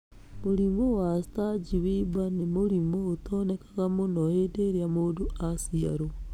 Mũrimũ wa Sturge Weber nĩ mũrimũ ũtaonekanaga mũno hĩndĩ ĩrĩa mũndũ aciarũo.